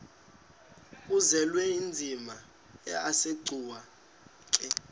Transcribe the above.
uzwelinzima asegcuwa ke